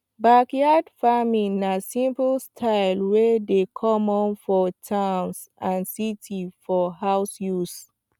backyard farming na simple style wey dey common for towns and cities for house use